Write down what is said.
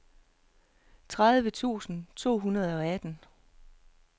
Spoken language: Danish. tredive tusind to hundrede og atten